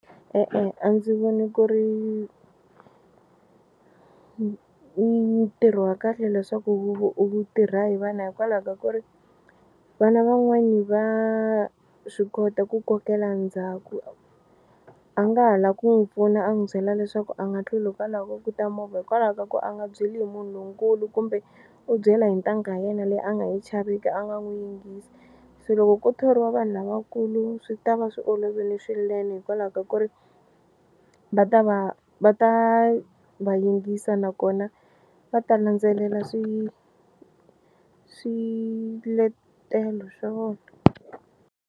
E-e a ndzi voni ku ri ntirho wa kahle leswaku u tirha hi vana hikwalaho ka ku ri vana van'wani va swi kota ku kokela ndzhaku a nga ha la ku n'wi pfuna a n'wi byela leswaku a nga tluli hikwalaho ka ku ta movha hikwalaho ka ku a nga byeli munhu lonkulu kumbe u byela hi ntangha ya yena leyi a nga yi chaveki a nga n'wi yingisi. Se loko ko thoriwa vanhu lavakulu swi ta va swi olovile swinene hikwalaho ka ku ri va ta va va ta va yingisa nakona va ta landzelela swi swiletelo swa vona.